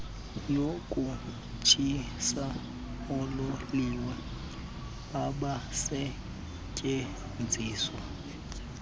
yokutshisa oololiwe abasetyenziswa